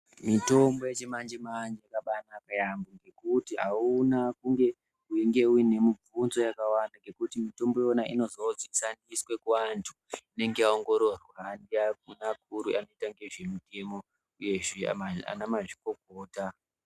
Mitombo uechimanje manje yakabaanaka yaambo ngekuti auna kunge unenge uine mibvunzo yakawanda ngekuti mitombo iyona unozodzikaniswa kuvanthu inenge yaongororwa ndiana mukuru anoita ngezvemitemo uyezve ana mazvikokota .